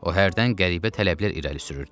O hərdən qəribə tələblər irəli sürürdü.